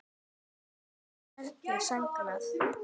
Braga verður sárt saknað.